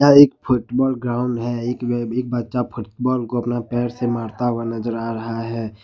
यह एक football ground है एक बच्चा फुटबॉल को अपना पैर से मारता हुआ नजर आ रहा है।